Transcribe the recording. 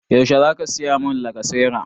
Yaushe za ka saya mun lacasera?